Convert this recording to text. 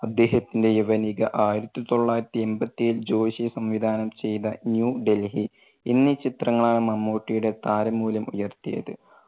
അദ്ദേഹത്തിന്റെ യവനിക, ആയിരത്തി തൊള്ളായിരത്തി എൺപത്തേഴിൽ ജോഷി സംവിധാനം ചെയ്ത ന്യൂ ഡൽഹി എന്നീ ചിത്രങ്ങളാണ് മമ്മൂട്ടിയുടെ താര മൂല്യം ഉയർത്തിയത്.